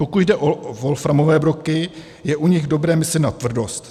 Pokud jde o wolframové broky, je u nich dobré myslet na tvrdost.